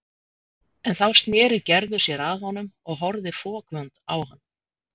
En þá sneri Gerður sér að honum og horfði fokvond á hann.